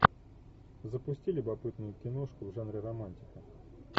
запусти любопытную киношку в жанре романтика